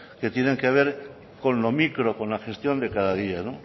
que tienen que ver con lo micro con la gestión de cada día